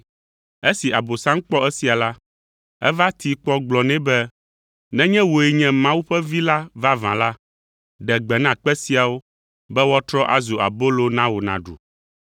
Esi Abosam kpɔ esia la, eva tee kpɔ gblɔ nɛ be, “Nenye wòe nye Mawu ƒe Vi la vavã la, ɖe gbe na kpe siawo be woatrɔ azu abolo na wò nàɖu.”